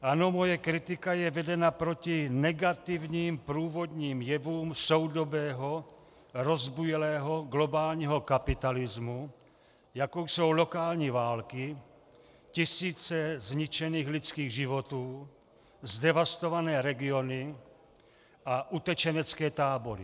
Ano, moje kritika je vedena proti negativním průvodním jevům soudobého rozbujelého globálního kapitalismu, jako jsou lokální války, tisíce zničených lidských životů, zdevastované regiony a utečenecké tábory.